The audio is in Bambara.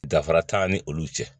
Dafara t'an ni olu cɛ